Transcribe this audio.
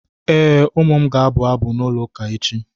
Ee, ụmụ m ga-abụ abụ n'ụlọụka echi.